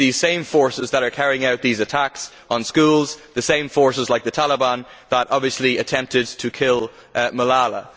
It is these same forces that are carrying out attacks on schools and these same forces like the Taliban that obviously attempted to kill Malala.